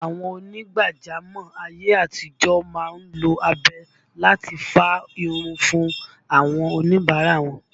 Àwọn ònígbàjámọ̀ ayé àtijọ́ má ń lo abẹ láti fá irun fún àwọn oníbàárà wọn